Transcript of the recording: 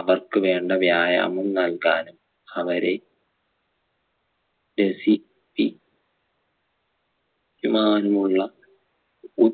അവർക്ക് വേണ്ട വ്യായാമം നൽകാനും അവരെ രസിപ്പി ക്കുവാനുമുള്ള ഉ